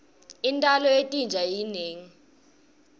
intalo yetinja inengi